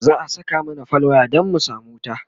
za'a Saka mana fal waya Dan mu samu wuta